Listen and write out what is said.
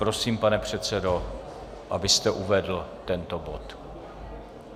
Prosím, pane předsedo, abyste uvedl tento bod.